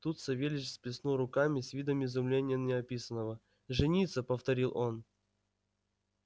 тут савельич сплеснул руками с видом изумления неописанного жениться повторил он